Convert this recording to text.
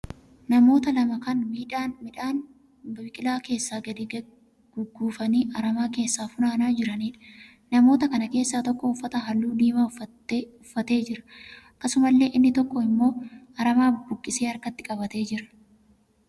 Namoota lama kan midhaan biqilaa keessaa gadi gugguufamanii aramaa keessa funaanaa jiraniidha. Namoota kana keessaa tokko uffata halluu diimaa uffatee jira. Akkasumallee inni tokko immoo aramaa buqqaasee harkatti qabatee jira.